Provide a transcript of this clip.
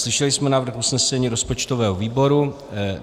Slyšeli jsme návrh usnesení rozpočtového výboru.